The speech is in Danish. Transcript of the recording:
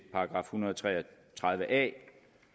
hundrede og tre og tredive a